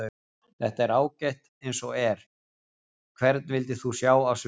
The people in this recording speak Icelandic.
Þetta er ágætt eins og er Hvern vildir þú sjá á sviði?